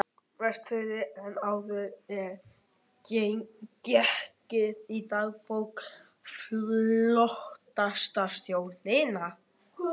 Vestfirði en áður er getið í dagbók flotastjórnarinnar